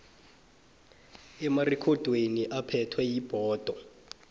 emarekhodini aphethwe yibhodo